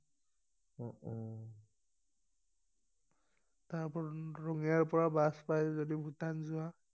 তাৰ পৰা ৰঙিয়াৰ পৰা বাছ পাই যদি ভূটান যোৱা